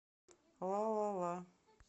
лалала